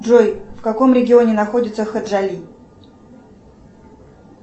джой в каком регионе находится хаджали